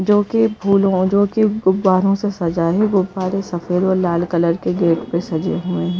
जो कि फूलों और जो कि गुब्बारों से सजा है गुब्बारे सफेद और लाल कलर के गेट पे सजे हुए हैं।